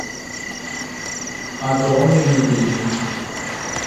огромный мебельный